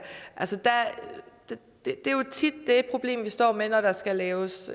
altså det er jo tit det problem vi står med når der skal laves